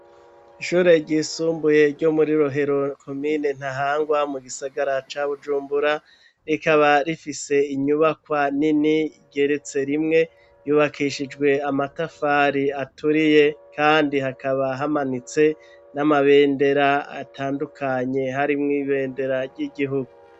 Ishure ry'isumbuye ryo muri Rohero komine Ntahangwa mu gisagara ca Bujumbura, rikaba rifise inyubakwa nini igeretse rimwe yubakishijwe amatafari aturiye kandi hakaba hamanitse n'amabendera atandukanye harimwo ibendera ry'igihugu.